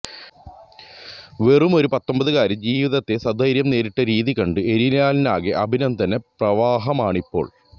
വെറുമൊരു പത്തൊമ്പതുകാരി ജീവിതത്തെ സധൈര്യം നേരിട്ട രീതി കണ്ട് ഏരിയലിനാകെ അഭിനന്ദന പ്രവാഹമാണിപ്പോള്